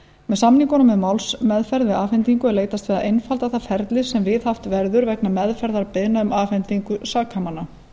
með samningunum um málsmeðferð við afhendingu er leitast við að einfalda það ferli sem viðhaft verður vegna meðferðar beiðna um afhendingu sakamanna